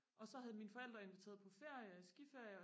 og så havde mine forældre inviteret på ferie skiferie